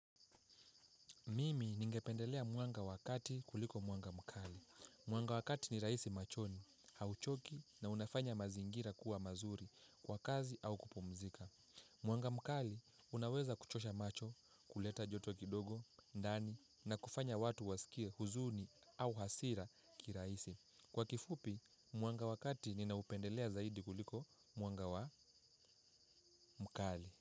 Mimi ningependelea mwanga wa wakati kuliko mwanga mkali. Mwanga wa wakati ni rahisi machoni, hauchoki na unafanya mazingira kuwa mazuri kwa kazi au kupumzika. Mwanga mkali unaweza kuchosha macho, kuleta joto kidogo, ndani na kufanya watu wasikie huzuni au hasira kirahisi. Kwa kifupi, mwanga wakati ninaupendelea zaidi kuliko mwanga wa mkali.